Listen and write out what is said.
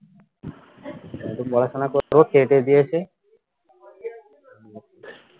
এখন পড়াশোনা করতে হয় এ দিয়েছে